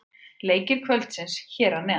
Leikir kvöldsins hér að neðan: